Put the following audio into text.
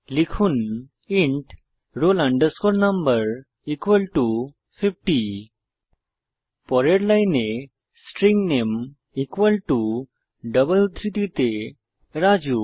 লিখুন int roll no 50 পরের লাইনে স্ট্রিং নামে ডবল উদ্ধৃতিতে রাজু